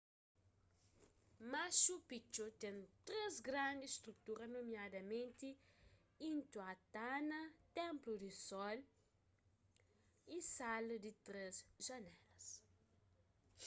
machu picchu ten três grandis strutura nomiadamenti intihuatana ténplu di sol y sala di três janélas